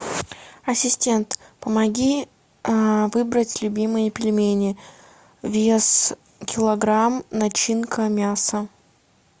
ассистент помоги выбрать любимые пельмени вес килограмм начинка мясо